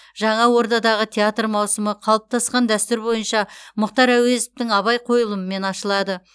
жаңа ордадағы театр маусымы қалыптасқан дәстүр бойынша мұхтар әуезовтің абай қойылымымен ашылады